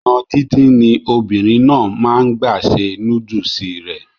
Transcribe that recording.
ònà díndín ni obìnrin náà máa n gbà se núdùsì rẹ̀